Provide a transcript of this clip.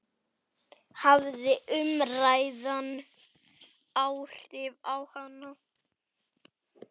Hafði umræðan áhrif á hana?